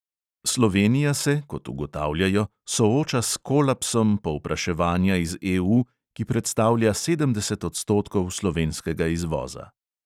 Slovenija se, kot ugotavljajo, sooča s "kolapsom" povpraševanja iz EU, ki predstavlja sedemdeset odstotkov slovenskega izvoza.